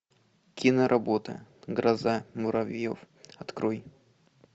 киноработа гроза муравьев открой